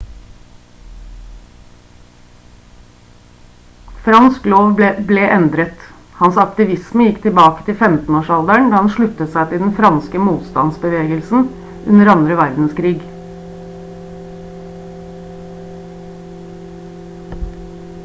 fransk lov ble endret hans aktivisme gikk tilbake til 15 års alderen da han sluttet seg til den franske motstandsbevegelsen under andre verdenskrig